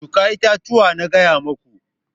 Shuka itatuwa na gaya muku!